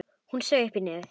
Hún saug upp í nefið.